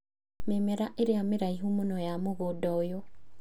Mĩmera ĩrĩa mĩraihu mũno ya mũgũnda ũyũ